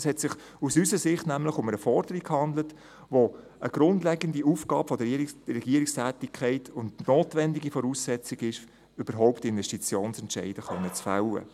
Aus unserer Sicht handelte es sich nämlich um eine Forderung, die eine grundlegende Aufgabe der Regierungstätigkeit und eine notwendige Voraussetzung ist, um überhaupt Investitionsentscheide fällen zu können.